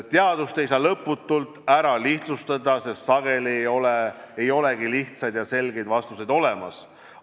Teadust ei saa lõputult lihtsustada, sest sageli ei olegi lihtsaid ja selgeid vastuseid olemas.